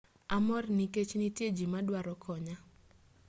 amor nikech nitie ji madwaro konya